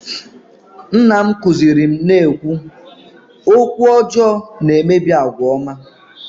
nna m kụziiri m na-ekwu "okwu ọjọọ na-emebi àgwà ọma"